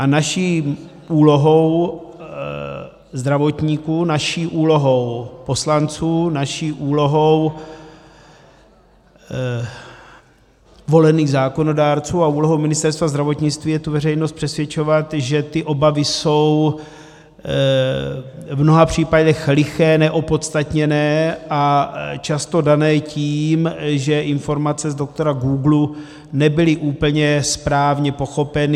A naší úlohou zdravotníků, naší úlohou poslanců, naší úlohou volených zákonodárců a úlohou Ministerstva zdravotnictví je tu veřejnost přesvědčovat, že ty obavy jsou v mnoha případech liché, neopodstatněné a často dané tím, že informace z doktora googlu nebyly úplně správně pochopeny.